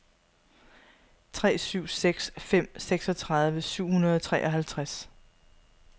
tre syv seks fem seksogtredive syv hundrede og treoghalvtreds